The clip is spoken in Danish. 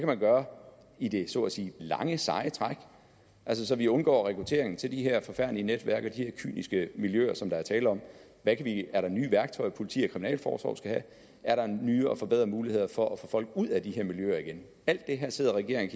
kan gøre i det så at sige lange seje træk så vi undgår rekruttering til de her forfærdelige netværk og de her kyniske miljøer som der er tale om er der nye værktøjer politi og kriminalforsorg skal have er der nye og forbedrede muligheder for at få folk ud af de her miljøer igen alt det her sidder regeringen